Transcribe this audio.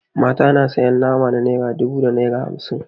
Mata na sayan nama na naira dubu da naira hamsin.